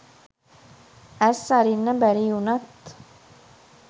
ඇස් අරින්න බැරි වුණත්